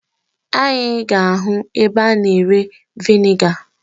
Anyị ga-ahụ ebe a na-ere veniga.